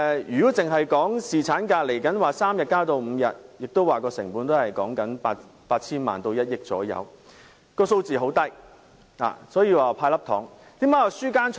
如果只談將侍產假由3天增至5天的建議，成本亦只是大約 8,000 萬元至1億元，數字很低，這就是為何我會說"派粒糖"。